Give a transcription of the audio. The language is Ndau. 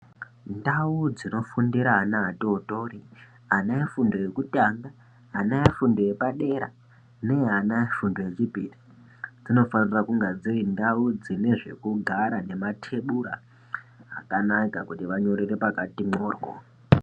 Ndau dzinofundire ana atotori ana efundo yekutanga ana efundo yepade neyeana efundo yechipiri dzinofanire kunge dziri ndau dzine zvekugara nematebhra akanaka kuri vanyorerw pakati mworyo.